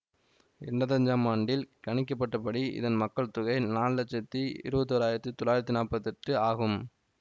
என்பத்தி ஐஞ்சாம் ஆண்டில் கணிக்கப்பட்டபடி இதன் மக்கள் தொகை நாலு லட்சத்தி இருபத்தி ஒராயிரத்தி தொள்ளாயிரத்தி நாற்பத்தெட்டாடு ஆகும்